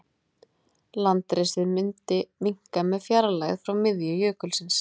Landrisið myndi minnka með fjarlægð frá miðju jökulsins.